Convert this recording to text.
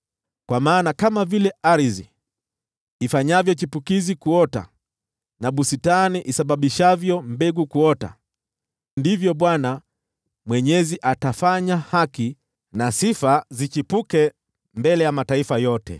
Kwa maana kama vile ardhi ifanyavyo chipukizi kuota, na bustani isababishavyo mbegu kuota, ndivyo Bwana Mwenyezi atafanya haki na sifa zichipuke mbele ya mataifa yote.